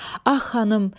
Ax xanım!